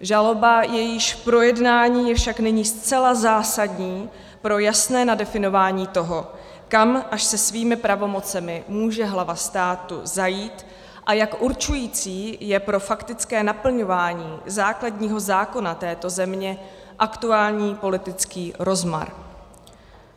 Žaloba, jejíž projednání je však nyní zcela zásadní pro jasné nadefinování toho, kam až se svými pravomocemi může hlava státu zajít a jak určující je pro faktické naplňování základního zákona této země aktuální politický rozmar.